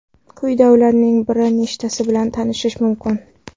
Quyida ularning bir nechtasi bilan tanishish mumkin.